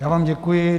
Já vám děkuji.